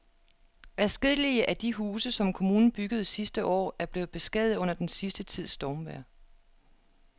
Adskillige af de huse, som kommunen byggede sidste år, er blevet beskadiget under den sidste tids stormvejr.